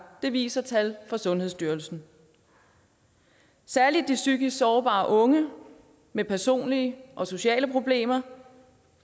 det viser tal fra sundhedsstyrelsen særlig de psykisk sårbare unge med personlige og sociale problemer